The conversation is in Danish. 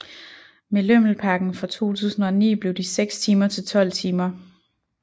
Med lømmelpakken fra 2009 blev de 6 timer til 12 timer